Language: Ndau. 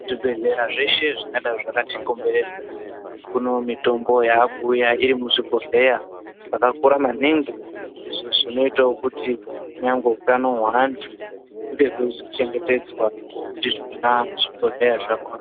Zvibhedhlera zveshe zvingadai zvakati komberedza kune mitombo yakuuya iri muzvibhodhleya zvakakura maningi, izvo zvinoitawo kuti nyangwe utano hweantu hunge hweizo chengetedzwa ndizvona zvibhodhleya zvakhona.